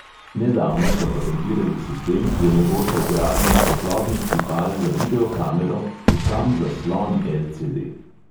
Nedavno so patentirali sistem, ki omogoča vgradnjo svetlobnih tipal za video kamero v sam zaslon el|ce|de.